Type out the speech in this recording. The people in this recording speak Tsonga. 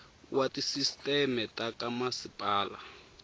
wa tisisteme ta ka masipala